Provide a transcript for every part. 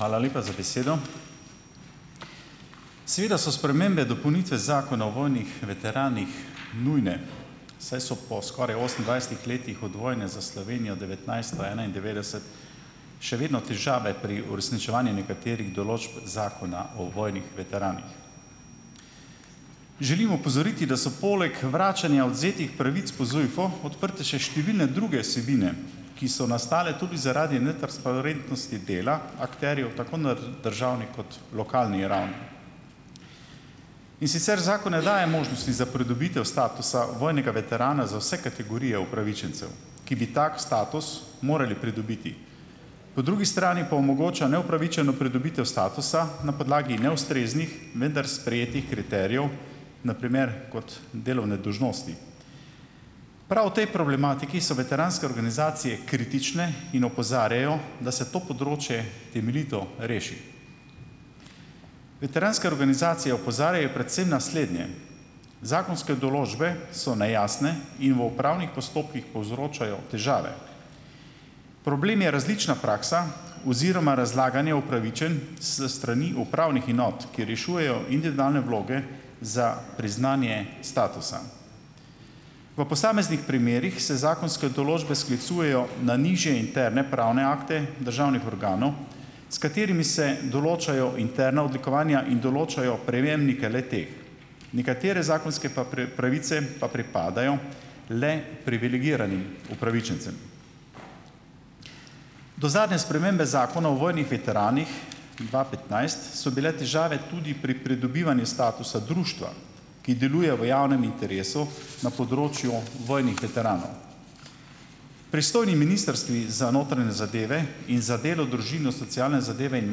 Hvala lepa za besedo . Seveda so spremembe, dopolnitve Zakona o vojnih veteranih nujne, saj so po skoraj osemindvajsetih letih od vojne za Slovenijo devetnajststo enaindevetdeset še vedno težave pri uresničevanju nekaterih določb Zakona o vojnih veteranih. Želim opozoriti, da so poleg vračanja odvzetih pravic po ZUJF-u odprte številne druge vsebine, ki so nastale tudi zaradi netransparentnosti dela, akterjetu tako na državni kot lokalni ravni . In sicer zakon ne daje možnosti za pridobitev statusa vojnega veterana za vse kategorije upravičencev, ki bi tak status morali pridobiti. Po drugi strani pa omogoča neupravičeno pridobitev statusa na podlagi neustreznih , vendar sprejetih kriterijev, na primer kot delovne dolžnosti. Prav v tej problematiki so veteranske organizacije kritične in opozarjajo, da se to področje temeljito reši. Veteranske organizacije opozarjajo predvsem naslednje: "Zakonske določbe so nejasne in v upravnih postopkih povzročajo težave." Problem je različna praksa oziroma razlaganje upravičenj s strani upravnih enot, ki rešujejo individualne vloge za priznanje statusa. V posameznih primerih se zakonske določbe sklicujejo na nižje interne pravne akte državnih organov, s katerimi se določajo interna odlikovanja in določajo prejemnike le-teh. Nekatere zakonske pa pravice pa pripadajo le privilegiranim upravičencem. Do zadnje spremembe Zakona o vojnih veteranih dva petnajst so bile težave tudi pri pridobivanju statusa društva, ki deluje v javnem interesu na področju vojnih veteranov . Pristojni ministrstvi za notranje zadeve in za delo, družino, socialne zadeve in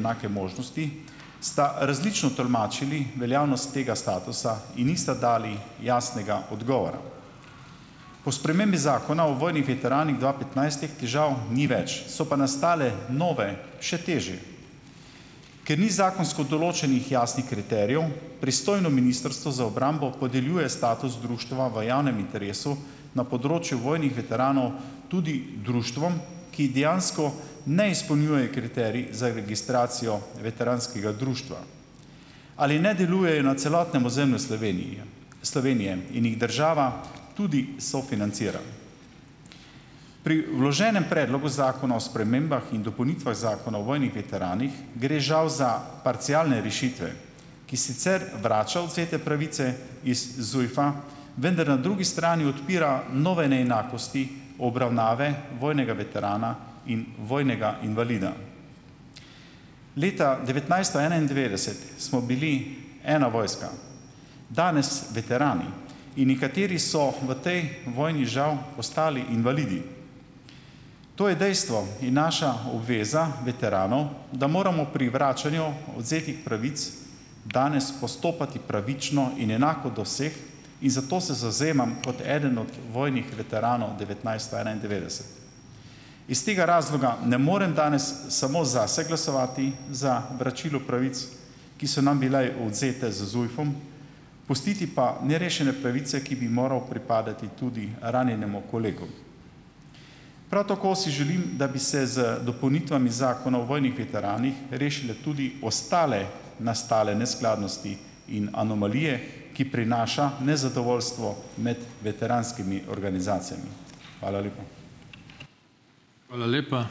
enake možnosti, sta različno tolmačili veljavnost tega statusa in nista dali jasnega odgovora. Po spremembi Zakona o vojnih veteranih dva petnajst teh težav ni več, so pa nastale nove, še težje. Ker ni zakonsko določenih jasnih kriterijev, pristojno ministrstvo za obrambo podeljuje status društva v javnem interesu na področju vojnih veteranov tudi društvom, ki dejansko ne izpolnjujejo kriterij za registracijo veteranskega društva. Ali ne delujejo na celotnem ozemlju Slovenije, Slovenije in jih država tudi sofinancira. Pri vloženem predlogu Zakona o spremembah in dopolnitvah Zakona o vojnih veteranih gre žal za parcialne rešitve, ki sicer vrača odvzete pravice iz ZUJF-a, vendar na drugi strani odpira nove neenakosti obravnave vojnega veterana in vojnega invalida. Leta devetnajststo enaindevetdeset smo bili ena vojska. Danes veterani in nekateri so v tej vojni žal postali invalidi. To je dejstvo in naša obveza veteranov, da moramo pri vračanju odvzetih pravic danes postopati pravično in enako do vseh in zato se zavzemam kot eden od vojnih veteranov devetnajststo enaindevetdeset. Iz tega razloga ne morem danes samo zase glasovati za vračilo pravic, ki so nam bile odvzete z ZUJF-om, pustiti pa nerešene pravice, ki bi morale pripadati tudi ranjenemu kolegu. Prav tako si želim, da bi se z dopolnitvami Zakona o vojnih veteranih, rešile tudi ostale nastale neskladnosti in in anomalije, ki prinašajo nezadovoljstvo med veteranskimi organizacijami. Hvala lepa.